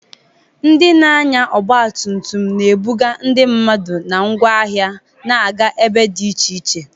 Ndị na-anya ọgba tum tum na-ebuga ndị mmadụ na ngwa ahịa na-aga ebe dị iche iche.